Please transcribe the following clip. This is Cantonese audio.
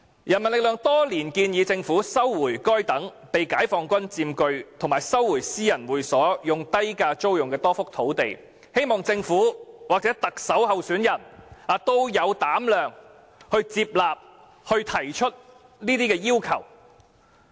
人民力量多年來建議政府收回該等被解放軍佔據及私人會所以低價租用的多幅土地，希望政府或特首候選人有膽量接納建議，提出這些要求。